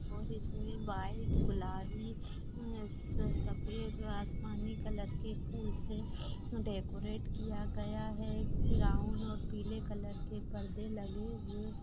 और इसमें व्हाईट गुलाबी मेस स सफ़ेद र आसमानी कलर के फूल से डेकोरेट किया गया है ब्राउन और पीले कलर के परदे लगे हुए --